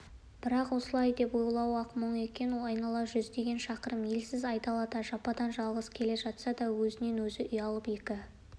бірақ осылай деп ойлауы-ақ мұң екен айнала жүздеген шақырым елсіз айдалада жападан-жалғыз келе жатса да өзінен-өзі ұялып екі